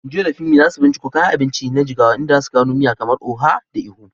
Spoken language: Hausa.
Joy da Funmi za su binciko kayan abinci na Jigawa, inda za su gano miya kamar Oha da Ikong.